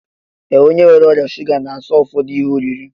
Ee, onye nwere ọrịa shuga na-aso ụfọdụ ihe oriri